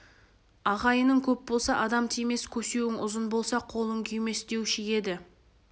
ағайының көп болса адам тимес көсеуің ұзын болса қолын күймес деуші еді